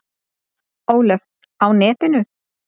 Ólöf: Á netinu?